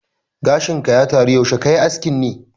Gashin ka ya taro, yaushe kayi askin ne?